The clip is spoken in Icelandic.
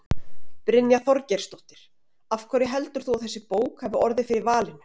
Brynja Þorgeirsdóttir: Af hverju heldur þú að þessi bók hafi orðið fyrir valinu?